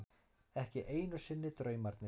Ekki einu sinni draumarnir.